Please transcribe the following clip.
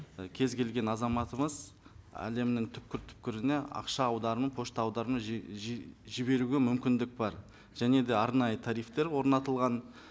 ы кез келген азаматымыз әлемнің түпкір түпкіріне ақша аударымын пошта аударымын жіберуге мүмкіндік бар және де арнайы тарифтер орнатылған